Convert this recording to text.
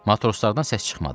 Matroslardan səs çıxmadı.